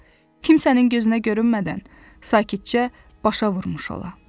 Kimsənin gözünə görünmədən, sakitcə başa vurmuş ola.